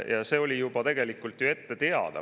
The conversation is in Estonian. Ja see oli tegelikult ju ette teada.